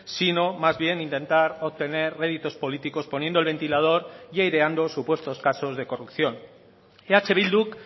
sino más bien intentar obtener réditos políticos poniendo el ventilador y aireando supuestos casos de corrupción eh bilduk